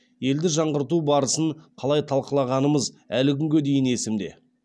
елді жаңғырту барысын қалай талқылағанымыз әлі күнге дейін есімде